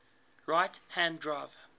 right hand drive